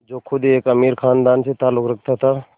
जो ख़ुद एक अमीर ख़ानदान से ताल्लुक़ रखता था